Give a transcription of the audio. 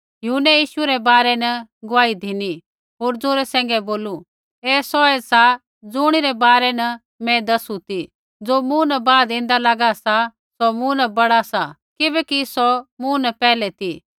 यूहन्नै यीशु रै बारै न गुआही धिनी होर जौरे सैंघै बोलू ऐ सौऐ सा ज़ुणिरै बारै न मैं दसु ती ज़ो मूँ न बाद ऐन्दा लागा सा सौ मूँ न बड़ा सा किबैकि सौ मूँ न पैहलै ती